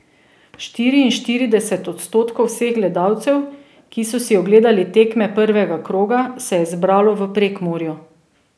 Štiriinštirideset odstotkov vseh gledalcev, ki so si ogledali tekme prvega kroga, se je zbralo v Prekmurju.